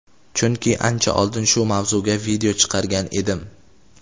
chunki ancha oldin shu mavzuga video chiqargan edim.